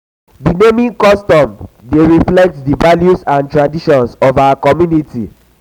di naming custom dey reflect di values and traditions of our our community.